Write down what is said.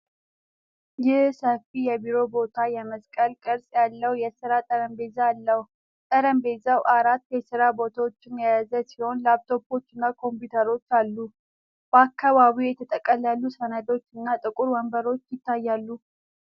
ይህ ሰፊ የቢሮ ቦታ የመስቀል ቅርጽ ያለው የሥራ ጠረጴዛ አለው። ጠረጴዛው አራት የስራ ቦታዎችን የያዘ ሲሆን፣ ላፕቶፖችና ኮምፒውተሮች አሉ። በአካባቢው የተጠቀለሉ ሰነዶች እና ጥቁር ወንበሮች ይታያሉ።